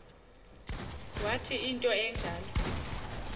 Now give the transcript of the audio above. wathi into enjalo